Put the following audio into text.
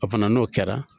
O fana n'o kɛra